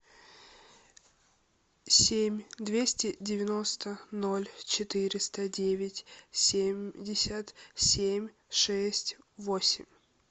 семь двести девяносто ноль четыреста девять семьдесят семь шесть восемь